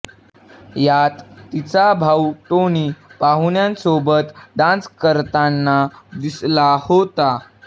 यात तिचा भाऊ टोनी पाहुण्यांसोबत डान्स करताना दिसला होता